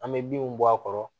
An bɛ binw bɔ a kɔrɔ